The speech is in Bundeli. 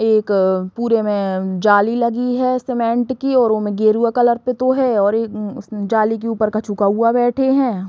एक पूरे में जाली लगी है सीमेंट की और ओमें गेरुआ कलर पुतो है और एक म जाली के ऊपर कछु कौआ बैठे हैं।